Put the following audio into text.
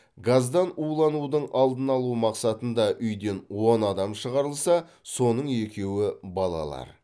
газдан уланудың алдын алу мақсатында үйден он адам шығарылса соның екеуі балалар